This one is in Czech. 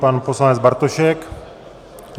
Pan poslanec Bartošek.